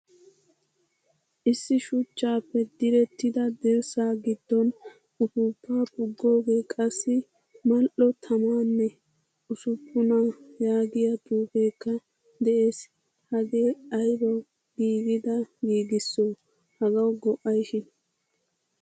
Issi shuchchappe direttida dirssa giddon uppupa pugoge qassi mal'o tammane ussuppuna yaagiyaa xuufekka de'ees. Hagee aybawu giigida giigiso? Hagawu go'ayshin?